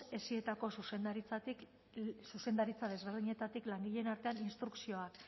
esitako zuzendaritza desberdinetatik langileen artean instrukzioak